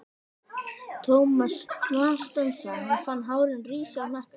Thomas snarstansaði, hann fann hárin rísa í hnakka sér.